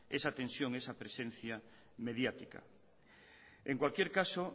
esa tensión esa presencia mediática en cualquier caso